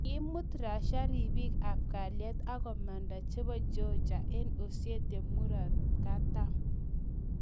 Kiimut Russia ribik ab kalyet akomanda chebo Georgia eng Ossetia murot katam